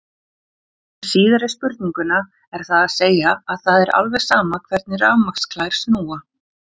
Um síðari spurninguna er það að segja að það er alveg sama hvernig rafmagnsklær snúa.